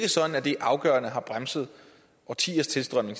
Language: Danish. afgørende har bremset årtiers tilstrømning